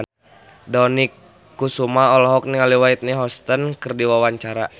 Dony Kesuma olohok ningali Whitney Houston keur diwawancara